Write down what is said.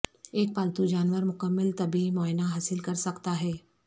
ایک پالتو جانور مکمل طبی معائنہ حاصل کرسکتا ہے